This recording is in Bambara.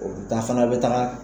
Dan fana bɛ taga.